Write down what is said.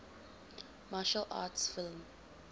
martial arts film